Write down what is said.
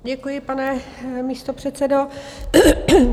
Děkuji, pane místopředsedo.